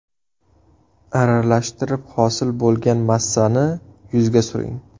Aralashtirib, hosil bo‘lgan massani yuzga suring.